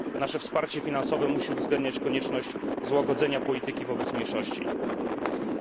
Nasze wsparcie finansowe musi uwzględniać konieczność złagodzenia polityki wobec mniejszości. Dziękuję.